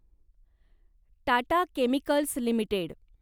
Tata chemicals limited